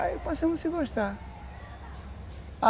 Aí passamos a se gostar.